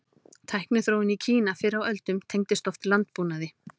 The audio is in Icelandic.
Tækniþróun í Kína fyrr á öldum tengdist oft landbúnaði.